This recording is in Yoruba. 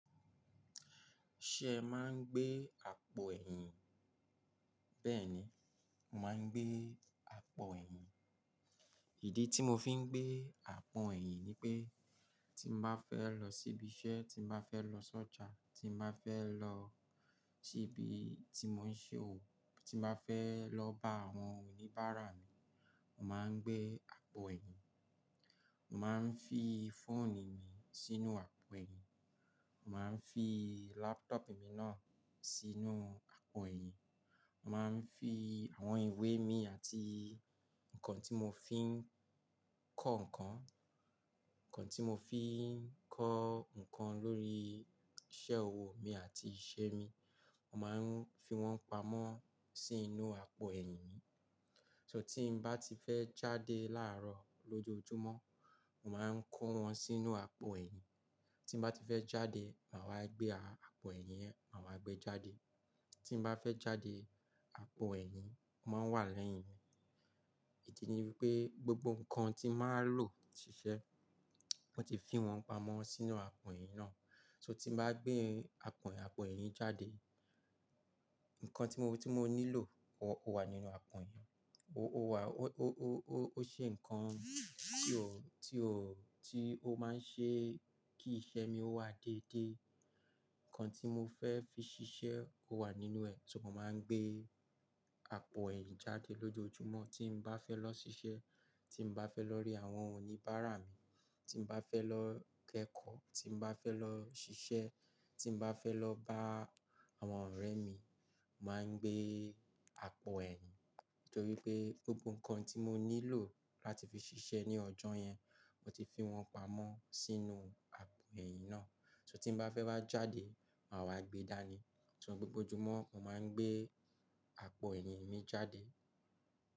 Ṣé ẹ máa ń gbé àpò ẹ̀yìn? Bẹ́ẹ̀ni, mo máa ń gbé àpò ẹ̀yìn. Ìdí tí mo fi ń gbé àpò ẹ̀yìn ni pé tí n bá fẹ́ lọ síbi iṣẹ́, tí n bá fẹ́ lọ sọ́jà, tí nbá fẹ́ lọ síbi tí mo ń ṣe òwò, tí mo bá fẹ́ lọ bá àwọn oníbàárà mi, màá ń gbé àpò ẹ̀yìn. Mo máa ń fi fóònù mi sínú àpò ẹ̀yìn, màá ń fi laptop mi náà sibe sínú àpò ẹ̀yìn, màá ń fi àwọn ìwé mi àti nǹkan tí mo fi ń kọ́ nǹkan. Tí mo fi ń kọ́ nǹkan lórí iṣẹ́ òwò mi àti ìṣe mi, màá ń fi wọ́n pamọ́ sínú àpò ẹ̀yìn mi. Tí n bá ti fẹ́ jáde láàárọ̀ lójoojúmọ́, màá ń kó wọn sínú àpò ẹ̀yìn. Tí n bá ti fẹ́ jáde, màá wá gbé àpò ẹ̀yìn yẹn, màá wá gbé jáde. Tí n bá fẹ́ jáde, àpò ẹ̀yìn máa wà lẹ́yìn mi. Ìdí ni wípé gbogbo nǹkan tí màá lò ṣiṣẹ́, mo ti fi wọ́n pamọ́ sínú àpò ẹ̀yìn náà. So tí màá gbé àpò ẹ̀yìn, àpò ẹ̀yìn jáde, nǹkan tí mo, tí mo nílò ó wà nínú àpò ẹ̀yìn. Ó ṣe nǹkan tí ó máa ń ṣe kí ìṣe mi ó wà déédé. Nǹkan tí mo fẹ́ fi ṣiṣẹ́ ó wà nínú ẹ̀, so mo màá ń gbé àpò ẹ̀yìn jáde lójoojúmọ́. Tí mo bá fẹ́ lọ ṣiṣẹ́, tí mo bá fẹ́ lọ rí àwọn oníbàárà mi, tí mo bá fẹ́ lọ kẹ́kọ̀ọ́, tí mo bá fẹ́ lọ ṣiṣẹ́, tí mo bá fẹ́ lọ bá àwọn ọ̀rẹ́ mi, màá ń gbé àpò ẹ̀yìn. Nítorí pé gbogbo nǹkan tí mo nílò láti fi ṣiṣẹ́ ní ọjọ́ yẹn, mo ti fi wọ́n pamọ́ sínú àpò ẹ̀yìn náà. So tí n bá fẹ́ wa jáde, màá wá gbe dáa ni. So gbogbo ojúmọ́, mo màá ń gbé àpò ẹ̀yìn mi jáde.